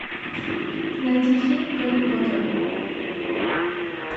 найти фильм гарри поттера